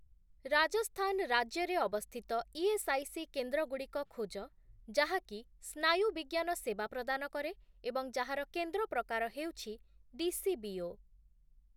ରାଜସ୍ଥାନ ରାଜ୍ୟରେ ଅବସ୍ଥିତ ଇଏସ୍ଆଇସି କେନ୍ଦ୍ରଗୁଡ଼ିକ ଖୋଜ ଯାହାକି ସ୍ନାୟୁବିଜ୍ଞାନ ସେବା ପ୍ରଦାନ କରେ ଏବଂ ଯାହାର କେନ୍ଦ୍ର ପ୍ରକାର ହେଉଛି ଡିସିବିଓ ।